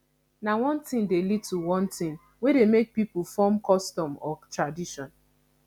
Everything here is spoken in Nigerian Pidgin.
na one thing de lead to one thing wey de make pipo form custom or tradition